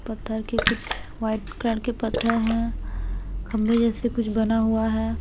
पत्थर के कुछ वाइट कलर के पत्थर हैं खम्भे जैसे कुछ बना हुआ है।